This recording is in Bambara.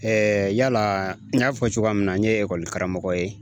yala n y'a fɔ cogoya min na n ye karamɔgɔ ye